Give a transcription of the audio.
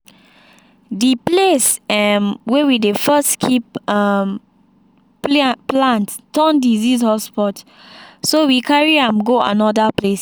the place um way we dey first keep um plant turn disease hotspot so we carry am go another place.